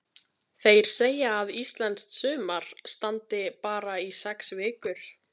Þeir segja að íslenskt sumar standi bara í sex vikur.